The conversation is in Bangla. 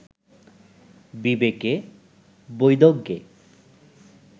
বিবেকে, বৈদজ্ঞে